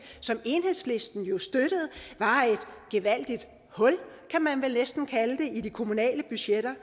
som enhedslisten jo støttede var et gevaldigt hul kan man vel næsten kalde det i de kommunale budgetter